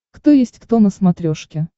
кто есть кто на смотрешке